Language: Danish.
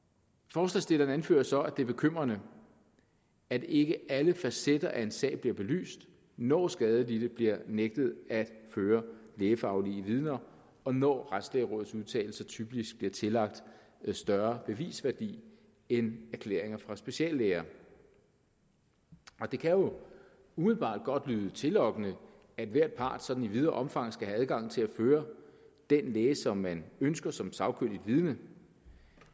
forslagsstillerne anfører så at det er bekymrende at ikke alle facetter af en sag bliver belyst når skadelidte bliver nægtet at føre lægefaglige vidner og når retslægerådets udtalelser typisk er tillagt større bevisværdi end erklæringer fra speciallæger det kan jo umiddelbart godt lyde tillokkende at hver part sådan i videre omfang skal have adgang til at føre den læge som man ønsker som sagkyndigt vidne